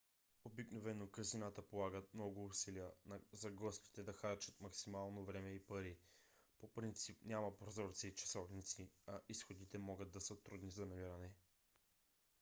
обикновено казината полагат много усилия за гостите да харчат максимално време и пари. по принцип няма прозорци и часовници а изходите могат да са трудни за намиране